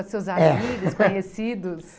Os seus amigos, conhecidos?